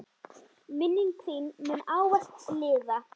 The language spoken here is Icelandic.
Minning þín mun ávallt lifa.